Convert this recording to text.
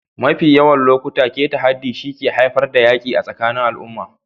Mafi yawan lokuta, keta haddi shi ke haifar da yaƙi tsakanin al'umma.